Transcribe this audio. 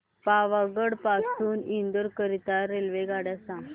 पावागढ पासून इंदोर करीता रेल्वेगाड्या